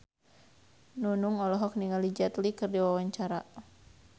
Nunung olohok ningali Jet Li keur diwawancara